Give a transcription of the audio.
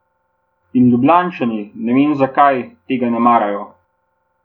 In Ljubljančani, ne vem zakaj, tega ne marajo.